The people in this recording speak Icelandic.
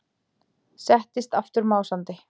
Settist aftur másandi.